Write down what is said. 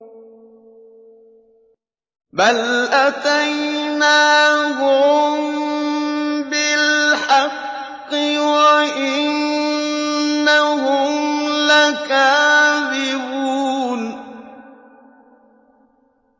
بَلْ أَتَيْنَاهُم بِالْحَقِّ وَإِنَّهُمْ لَكَاذِبُونَ